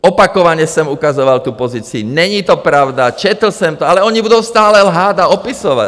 Opakovaně jsem ukazoval tu pozici, není to pravda, četl jsem to, ale oni budou stále lhát a opisovat!